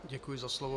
Děkuji za slovo.